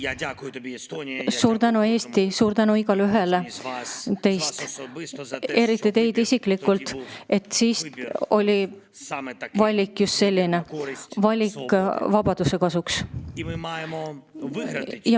Ma tänan sind, Eesti, ja tänan igaühte teist selle eest, et siis oli valik just selline: valik vabaduse kasuks.